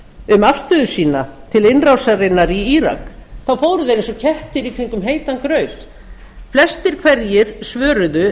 um afstöðu sína til innrásarinnar í írak þá fóru þeir eins og kettir í kringum heitan graut flestir hverjir svöruðu